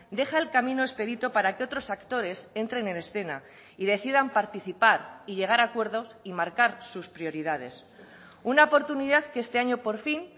deja el camino expedito para que otros actores entren en escena y decidan participar y llegar a acuerdos y marcar sus prioridades una oportunidad que este año por fin